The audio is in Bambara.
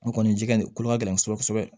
N kɔni ji ka nin ko ka gɛlɛn kosɛbɛ